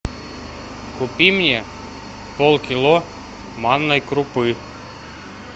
купи мне полкило манной крупы